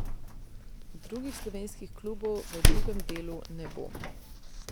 Drugih slovenskih klubov v drugem delu ne bo.